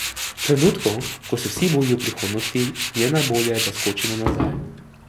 V trenutku, ko se vsi bojijo prihodnosti, je najbolje, da skočimo nazaj.